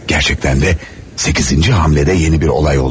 Gerçekten de 8. hamlede yeni bir olay oldu.